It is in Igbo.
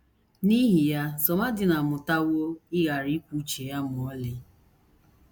N’ihi ya, Somadina amụtawo ịghara ikwu uche ya ma ọlị.